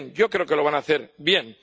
Yo creo que lo van a hacer bien.